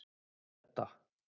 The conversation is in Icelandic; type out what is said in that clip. Hedda